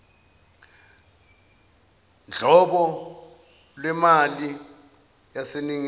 nghlobo lwemali yaseningizimu